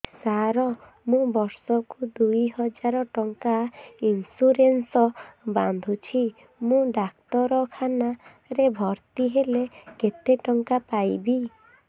ସାର ମୁ ବର୍ଷ କୁ ଦୁଇ ହଜାର ଟଙ୍କା ଇନ୍ସୁରେନ୍ସ ବାନ୍ଧୁଛି ମୁ ଡାକ୍ତରଖାନା ରେ ଭର୍ତ୍ତିହେଲେ କେତେଟଙ୍କା ପାଇବି